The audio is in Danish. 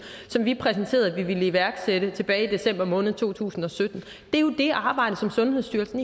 som vi præsenterede at vi ville iværksætte tilbage i december måned to tusind og sytten er jo det arbejde som sundhedsstyrelsen